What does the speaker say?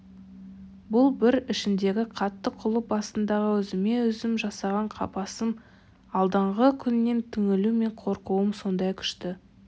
бұл бір ішімдегі қатты құлып астындағы өзіме-өзім жасаған қапасым алдағы күннен түңілу мен қорқуым сондай күшті